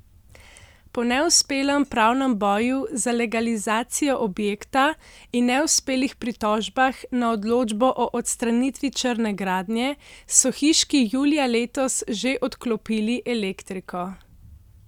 Po neuspelem pravnem boju za legalizacijo objekta in neuspelih pritožbah na odločbo o odstranitvi črne gradnje, so hiški julija letos že odklopili elektriko.